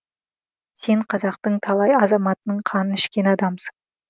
сен қазақтың талай азаматының қанын ішкен адамсың